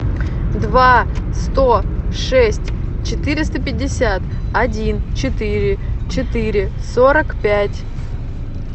два сто шесть четыреста пятьдесят один четыре четыре сорок пять